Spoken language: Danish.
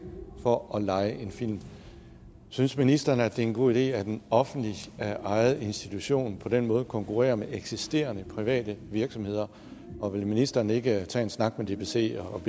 for at leje en film synes ministeren det er en god idé at en offentligt ejet institution på den måde konkurrerer med eksisterende private virksomheder og vil ministeren ikke tage en snak med dbc om